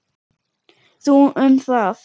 Þú um það.